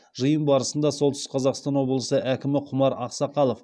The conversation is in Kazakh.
жиын барысында солтүстік қазақстан облысы әкімі құмар ақсақалов